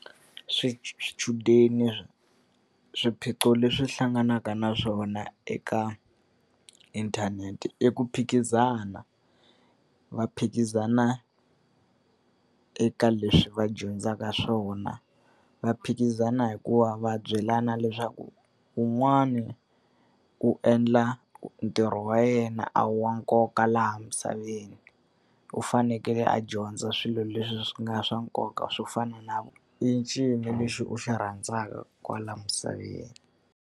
swichudeni swiphiqo leswi hlanganaka na swona eka inthanete i ku phikizana. Va phikizana eka leswi va dyondzaka swona, va phikizana hikuva va byelana leswaku wun'wana ku endla ntirho wa yena a hi wa nkoka laha misaveni, u fanekele a dyondza swilo leswi swi nga swa nkoka swo fana na i ncini lexi u xi rhandzaka kwala misaveni.